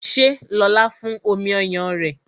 Ṣé lóla fún omi ọyàn rẹ?